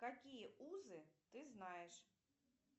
какие узы ты знаешь